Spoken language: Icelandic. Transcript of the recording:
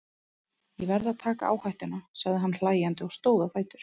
Ég verð að taka áhættuna, sagði hann hlæjandi og stóð á fætur.